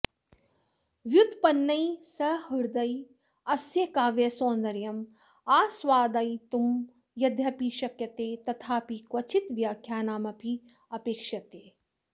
व्युत्पन्नैः सहृदयैः अस्य काव्यसौन्दर्यम् आस्वादयितुं यद्यपि शक्यते तथापि क्वचित् व्याख्यानमपि अपेक्ष्यते